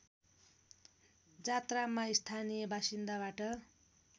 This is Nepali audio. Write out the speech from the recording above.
जात्रामा स्थानीय बासिन्दाबाट